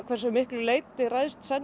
hve miklu leyti ræðst